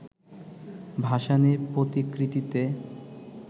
ভাসানির প্রতিকৃতিতে